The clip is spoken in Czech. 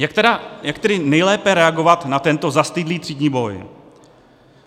Jak tedy nejlépe reagovat na tento zastydlý třídní boj?